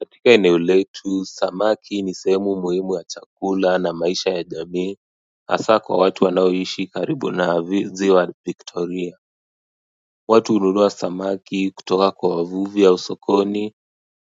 Katika eneo letu samaki ni sehemu muhimu ya chakula na maisha ya jamii hasa kwa watu wanaoishi karibu na ziwa victoria Watu hununua samaki kutoka kwa wavuvi au sokoni